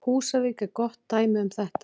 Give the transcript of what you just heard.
Húsavík er gott dæmi um þetta.